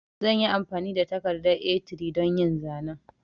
Zanyi amfani da takardar A3 don yin zanen